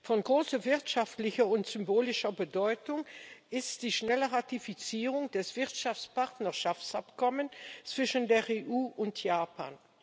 Von großer wirtschaftlicher und symbolischer Bedeutung ist die schnelle Ratifizierung des Wirtschaftspartnerschaftsabkommens zwischen der EU und Japan.